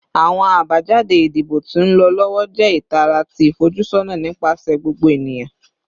Awọn abajade idibo ti nlọ lọwọ jẹ itara ti ifojusọna nipasẹ gbogbo eniyan